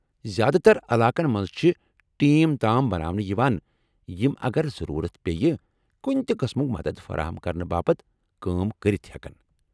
زیٛادٕ تر علاقن منٛز چھ ٹیٚم تام بناونہٕ یوان یم اگر ضروٗرت پییہِ کُنہِ تہِ قٕسمُك مدتھ فراہم کرنہٕ باپت كٲم كرِتھ ہیٚكن ۔